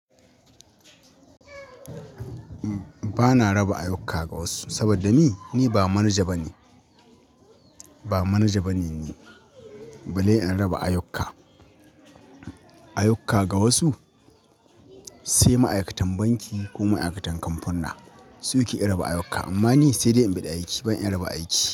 Ba na raba ayyuka ga wasu, saboda ni, ni ba manaja bane. Ba manaja bane ni, balle in raba ayyuka. Ayyuka ga wasu, sai ma'aikatan banki ko ma'aikatan kamfunna su ke raba ayyuka. Amma ni sai dai in biɗi aiki, ban iya raba aiki.